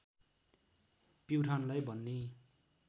प्युठानलाई भन्ने